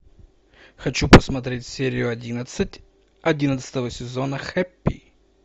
хочу посмотреть серию одиннадцать одиннадцатого сезона хэппи